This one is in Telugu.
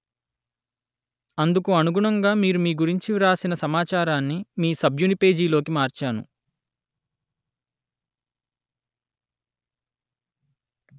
అందుకు అనుగుణంగా మీరు మీ గురించి వ్రాసిన సమాచారాన్ని మీ సభ్యుని పేజీలోకి మార్చాను